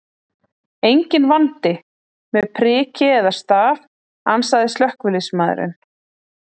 Enginn vandi með priki eða staf, ansaði slökkviliðsmaðurinn.